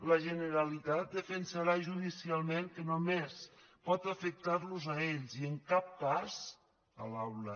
la generalitat defensarà judicialment que només pot afectar los a ells i en cap cas l’aula